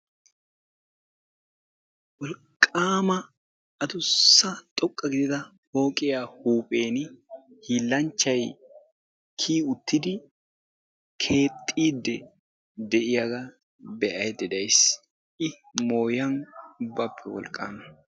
Wolqqama adussa xoqqa gidida pooqiya huuphiyaan hiilanchchay kiyyi uttidi keexxiidde de'iyaaga be'aydda days. I mooyan ubbappe wolqqama.